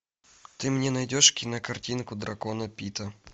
ты мне найдешь кинокартинку драконы пита